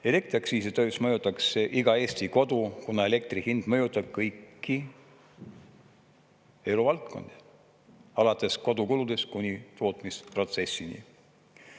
Elektriaktsiisi tõus mõjutaks iga Eesti kodu, kuna elektri hind mõjutab kõiki eluvaldkondi alates kodukuludest kuni tootmisprotsessini.